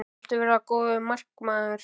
Viltu verða góður markmaður?